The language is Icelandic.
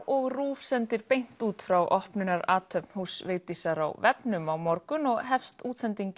RÚV sendir beint út frá opnunarathöfn húss Vigdísar á vefnum á morgun og hefst útsendingin